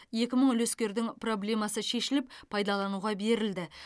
екі мың үлескердің проблемасы шешіліп пайдалануға берілді